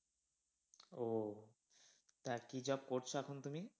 ও, তা কি job করছে এখন তুমি?